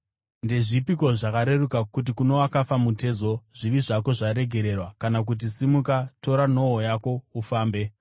Ndezvipiko zvakareruka: Kuti kuno wakafa mutezo, ‘Zvivi zvako zvaregererwa,’ kana kuti, ‘Simuka, tora nhoo yako ufambe’?